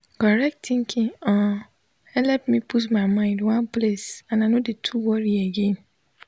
correct tinkin um helep me put my mind one place and i nor de too worri again